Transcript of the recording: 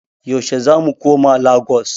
Yaushe zamu koma Lagos?